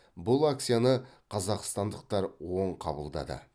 бұл акцияны қазақстандықтар оң қабылдады